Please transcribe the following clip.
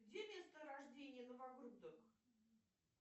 где место рождения